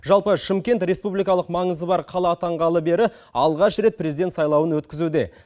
жалпы шымкент республикалық маңызы бар қала атанғалы бері алғаш рет президент сайлауын өткізуде